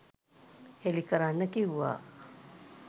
හෙළි කරන්න කිව්වා.